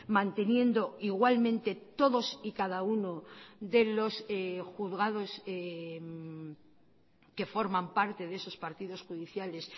manteniendo igualmente todos y cada uno de los juzgados que forman parte de esos partidos judiciales